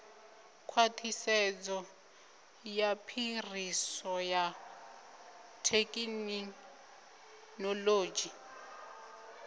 khwaṱhisedzo ya phiriso ya thekhinoḽodzhi